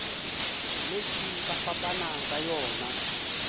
letše ba fapana ka yona